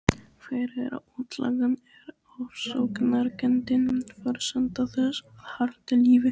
Fyrir útlagann er ofsóknarkenndin forsenda þess að halda lífi.